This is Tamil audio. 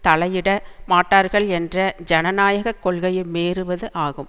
தலையிட மாட்டார்கள் என்ற ஜனநாயக கொள்கையை மீறுவது ஆகும்